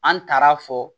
An taara fɔ